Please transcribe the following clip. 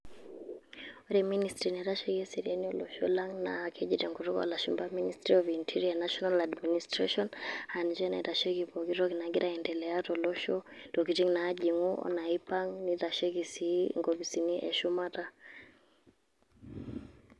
Ore Ministry naitasheki eseriani olosho lang' naa, nakeji tenkutuk olashumpa Ministry of interior National Administration ,ah ninche naitasheki pooki toki nagira aiendelea tolosho. Ntokiting' naajing'u o naipang'. Neitasheki si inkopisini eshumata.